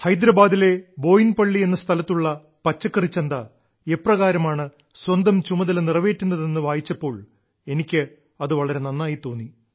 ഹൈദരാബാദിലെ ബോയിൻപള്ളി എന്ന സ്ഥലത്തുള്ള പച്ചക്കറിച്ചന്ത എപ്രകാരമാണ് സ്വന്തം ചുമതല നിറവേറ്റുന്നതെന്ന് വായിച്ചപ്പോൾ എനിക്ക് വളരെ നന്നായി തോന്നി